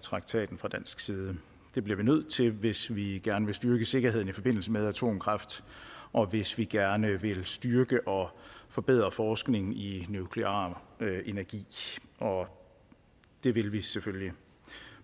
traktaten fra dansk side det bliver vi nødt til hvis vi gerne vil styrke sikkerheden i forbindelse med atomkraft og hvis vi gerne vil styrke og forbedre forskning i nuklear energi og det vil vi selvfølgelig